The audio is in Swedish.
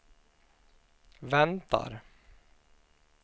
väntar